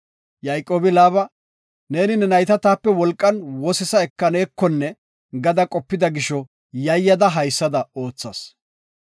Yayqoobi Laaba, “Neeni ne nayta taape wolqan wosisa ekanekonne gada qopida gisho yayada haysada oothas.